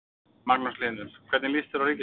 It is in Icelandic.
Magnús Hlynur: Hvernig lýst þér á ríkisstjórnina?